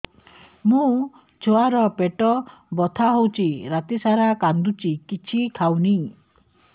ମୋ ଛୁଆ ର ପେଟ ବଥା ହଉଚି ରାତିସାରା କାନ୍ଦୁଚି କିଛି ଖାଉନି